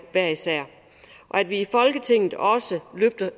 hver især og at vi i folketinget også løfter